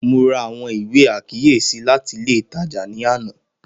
Mo ra awọn iwe akiyesi lati ile itaja ni ana